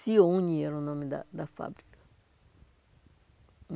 Sione era o nome da da fábrica.